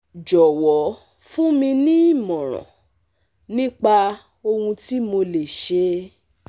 jọ̀wọ́ fún mi ní ìmọ̀ràn nípa ohun tí mo lè ṣe